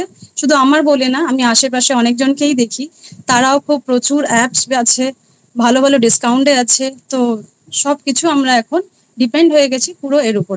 শুধু আমার বলে নয় আমি আসে পাশে অনেক জনকেই দেখি তারাও খুব প্রচুর apps আছে ভালো ভালো discount এ আছে তো সবকিছু আমরা এখন depend হয়ে গেছে পুরো এর ওপরে।